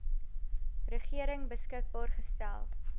regering beskikbaar gestel